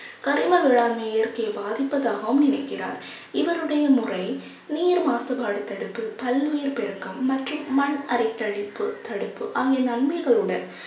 கரிம வேளாண்மை இயற்கையை பாதிப்பதாகவும் நினைக்கிறார். இவருடைய முறை நீர் மாசுபாடு தடுப்பு பல்லுயிர் பெருக்கம் மற்றும் மண் அரைத்தழிப்பு தடுப்பு ஆகிய நன்மைகளுடன்